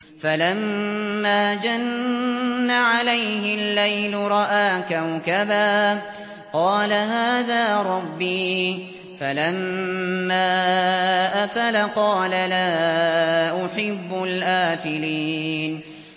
فَلَمَّا جَنَّ عَلَيْهِ اللَّيْلُ رَأَىٰ كَوْكَبًا ۖ قَالَ هَٰذَا رَبِّي ۖ فَلَمَّا أَفَلَ قَالَ لَا أُحِبُّ الْآفِلِينَ